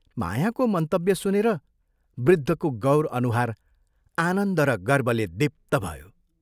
मायाको मन्तव्य सुनेर वृद्धको गौर अनुहार आनन्द र गर्वले दीप्त भयो।